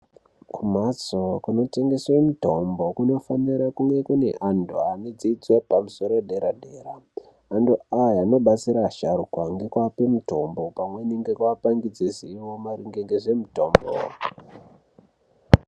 Kumbatso inotengeswa mitombo kunofanira kune vantu vakadzidza dzidzo yepamusoro yedera dera antu aya anodetsera asharukwa ngekuvape mitombo pamweni nekuva pangidzwe zivo maringe ngezvemitombo